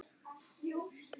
Ljós sást í einum glugga.